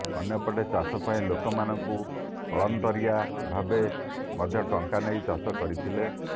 ଅନ୍ୟପଟେ ଚାଷପାଇଁ ଲୋକମାନଙ୍କଠାରୁ କଳନ୍ତରିଆ ଭାବେ ମଧ୍ୟ ଟଙ୍କା ନେଇ ଚାଷ କରିଥିଲେ